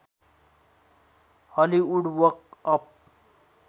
Hollywood walk of